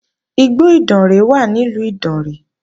Igbó Ìdànrè wà ní ìlú Ìdànrè